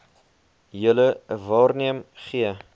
julle waarneem gee